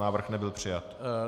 Návrh nebyl přijat.